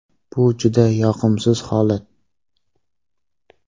Bu juda yoqimsiz holat.